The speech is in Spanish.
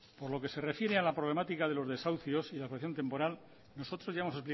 por lo que se refiere a la problemática de los desahucios y la temporal nosotros ya hemos